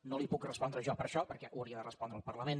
no li puc respondre jo per això perquè hi hauria de respondre el parlament